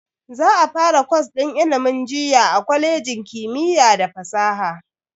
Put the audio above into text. Za a fara kwas din ilimin jinya a kwalejin kimiyya da fasaha.